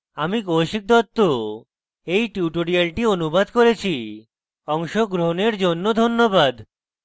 আমি কৌশিক দত্ত এই টিউটোরিয়ালটি অনুবাদ করেছি অংশগ্রহনের জন্য ধন্যবাদ